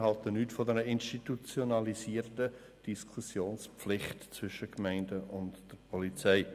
Wir halten nichts von einer institutionalisierten Diskussionspflicht zwischen den Gemeinden und der Polizei.